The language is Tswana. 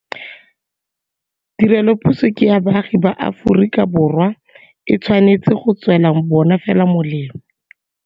Tirelopuso ke ya baagi ba Aforika Borwa. E tshwanetse go tswela bona fela molemo.